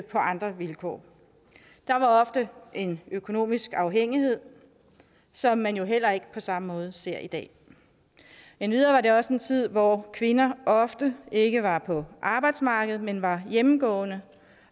andre vilkår der var ofte en økonomisk afhængighed som man jo heller ikke på samme måde ser i dag endvidere var det også en tid hvor kvinder ofte ikke var på arbejdsmarkedet men var hjemmegående